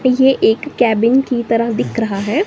ये एक केबिन की तरह दिख रहा है।